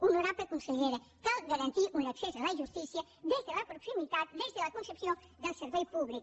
honorable consellera cal garantir un accés a la justícia des de la proximitat des de la concepció del servei públic